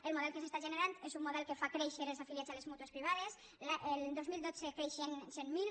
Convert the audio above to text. el model que s’està generant és un model que fa créixer els afiliats a les mútues privades el dos mil dotze creixia en cent mil